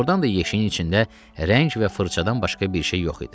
Doğrudan da yeşiyin içində rəng və fırçadan başqa bir şey yox idi.